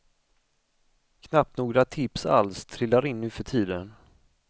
Knappt några tips alls trillar in nuförtiden.